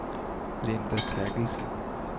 Linda Therkildsen